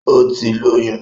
Ó ti lóyún